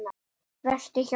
Vertu hjá mér.